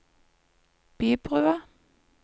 Bybrua